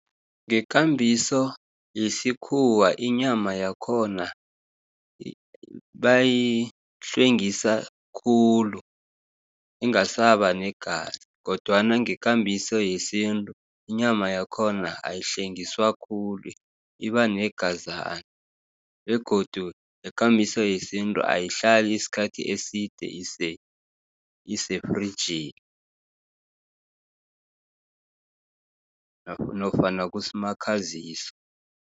Ngekambiso yesikhuwa inyama yakhona bayihlwengisa khulu, ingasabanegazi, kodwana ngekambiso yesintru, inyama yakhona ayihlengiswa khulu ibanegazana, begodu ngekambiso yesintu ayihlali isikhathi eside isefrigini nofana kusmakhazisi